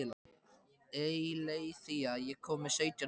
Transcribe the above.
Eileiþía, ég kom með sautján húfur!